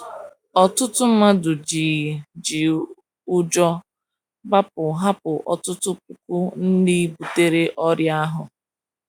Ọtụtụ mmadụ ji ji ụjọ gbapụ — hapụ ọtụtụ puku ndị butere ọrịa ahụ.